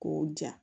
K'o ja